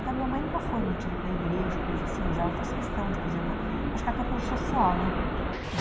Então, minha mãe nunca foi muito ir para igreja ou coisa assim, mas ela fez questão, tipo, por exemplo, acho que até pelo social, né?